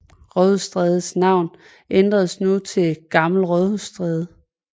Rådhusstrædes navn ændredes nu til Gammel Rådhusstræde